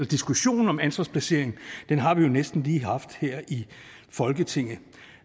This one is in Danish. diskussion om ansvarsplacering har vi næsten lige haft her i folketinget